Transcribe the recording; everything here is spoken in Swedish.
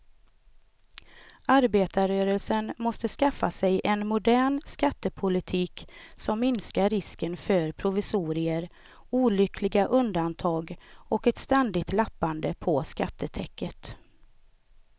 Arbetarrörelsen måste skaffa sig en modern skattepolitik som minskar risken för provisorier, olyckliga undantag och ett ständigt lappande på skattetäcket.